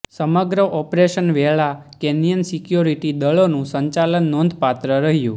સમગ્ર ઓપરેશન વેળા Kenyan security દળોનું સંચાલન નોંધપાત્ર રહ્યું